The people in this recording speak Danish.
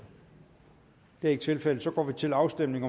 det er ikke tilfældet så går vi til afstemning